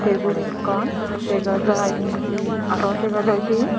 tebil ekkan dega jai indi araw dega jai di.